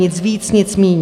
Nic víc, nic míň.